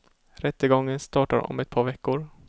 Rättegången startar om ett par veckor.